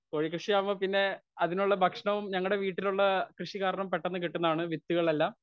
speaker 1 കോഴി കൃഷിയാവുമ്പോ പിന്നെ അതിനുള്ള ഭക്ഷണവും ഞങ്ങളുടെ വീട്ടിലുള്ള കൃഷികാരണം പെട്ടന്ന് കിട്ടുന്നതാണ് വിത്തുകളെല്ലാം